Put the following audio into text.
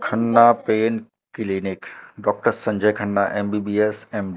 Khanna pain clinic doctor Sanjay Khanna MBBS M--